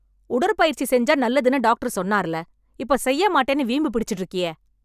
உடற்பயிற்சி செஞ்சா நல்லதுன்னு டாக்டர் சொன்னார்ல... இப்போ செய்யமாட்டேன்னு வீம்பு பிடிச்சுட்டு இருக்கியே...